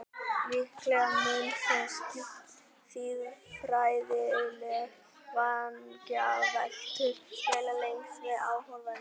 Líklega munu þó siðfræðilegar vangaveltur dvelja lengst með áhorfendum.